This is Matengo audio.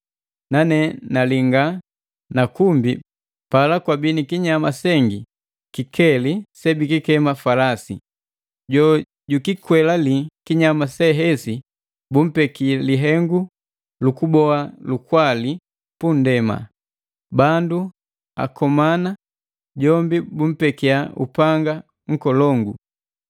Nane nalinga na kumbi pala kwabii ni kinyama sengi kikeli sebikikema falasi. Jojukikwelale kinyama sehesi bumpeki lihengu lukuboa lukwali punndema, bandu akomana, jombi bumpekia upanga nkolongu.